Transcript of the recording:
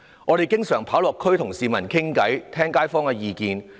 我們經常落區與市民對話，聽街坊的意見。